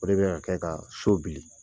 O de bɛna kɛ kaa so bili.